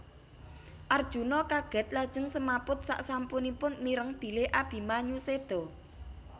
Arjuna kagèt lajeng semaput saksampunipun mireng bilih Abimanyu sèda